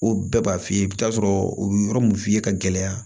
O bɛɛ b'a f'i ye i bɛ t'a sɔrɔ u bɛ yɔrɔ min f'i ye ka gɛlɛya